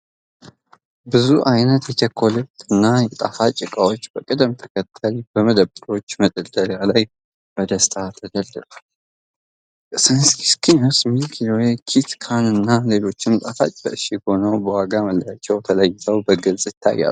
ብዙ አይነት የቸኮሌትና የጣፋጭ እቃዎች በቅደም ተከተል በመደብሮች መደርደሪያ ላይ በደስታ ተደርድረዋል። ስኒከርስ፣ ሚልኪ ዌይ፣ ኪት ካትና ሌሎችም ጣፋጮች በእሽግ ሆነው በዋጋ መለያዎች ተለይተው በግልጽ ይታያሉ።